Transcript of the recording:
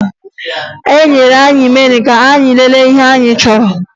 Ha nyere anyị meniu ka anyị lelee ihe anyị chọrọ